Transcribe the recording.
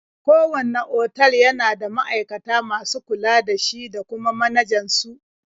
Kowanne otal yana da ma'aikata masu kula da shi da kuma manajan su.